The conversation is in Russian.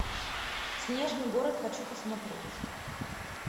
снежный город хочу посмотреть